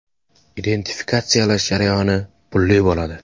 Identifikatsiyalash jarayoni pulli bo‘ladi.